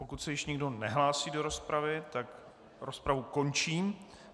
Pokud se již nikdo nehlásí do rozpravy, tak rozpravu končím.